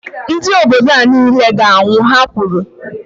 Ndị obodo a niile ga -anwụ, Ha kwuru